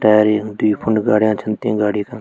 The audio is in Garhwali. टायर ये फूंड गार्यां छन ती गाड़ी का।